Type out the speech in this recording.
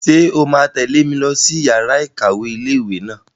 Ṣé o máa tẹ̀lé mi lọ sí yàrá-ìkàwé ilé-ìwé náà?